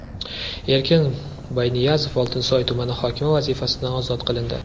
Erkin Boyniyazov Oltinsoy tumani hokimi vazifasidan ozod qilindi.